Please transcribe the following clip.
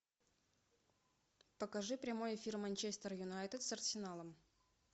покажи прямой эфир манчестер юнайтед с арсеналом